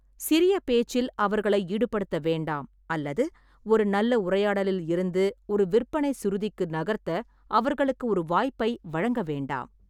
சிறிய பேச்சில் அவர்களை ஈடுபடுத்த வேண்டாம் அல்லது ஒரு நல்ல உரையாடலில் இருந்து ஒரு விற்பனை சுருதிக்கு நகர்த்த அவர்களுக்கு ஒரு வாய்ப்பை வழங்க வேண்டாம்.